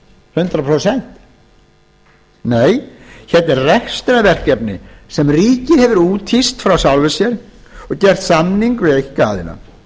hundrað prósent nei heldur rekstrarverkefni sem ríkið hefur úthýst frá sjálfu sér og gert samning um við einkaaðila